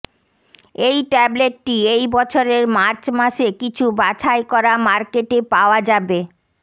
এই ট্যাবলেটটি এই বছরের মার্চ মাসে কিছু বাছাই করা মার্কেটে পাওয়া যাবে